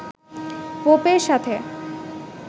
পোপের সাথে